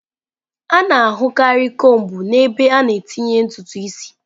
A na-ahụkarị kombu n'ebe a na-etinye ntutu isi.